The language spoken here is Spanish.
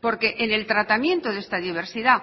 porque en el tratamiento de esta diversidad